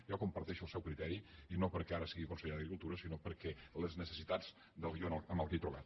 jo comparteixo el seu criteri i no perquè ara sigui conseller d’agricultura sinó per les necessitats del guió amb què m’he trobat